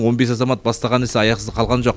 он бес азамат бастаған іс аяқсыз қалған жоқ